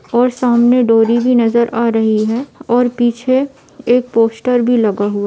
और सामने डोरी भी नजर आ रही है और पीछे एक पोस्टर भी लगा हुआ --